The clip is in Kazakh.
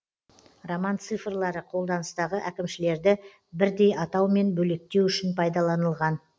роман цифрлары қолданыстағы әкімшілерді бірдей атаумен бөлектеу үшін пайдаланылған